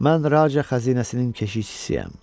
Mən Raca xəzinəsinin keşiyçisiyəm.